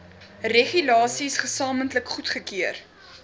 regulasies gesamentlik goedgekeur